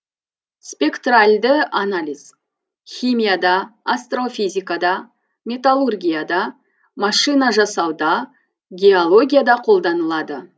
спектральді анализ химияда астрофизикада металлургияда машинажасауда геологияда қолданылады